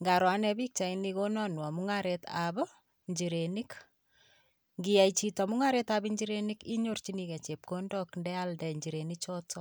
Nkaro ane pikchaini konanwo mung'aretap ichirenik. Nkiyai chito mung'aretap inchirenik inyoorchinikei chepkondok ndealde inchirenichoto.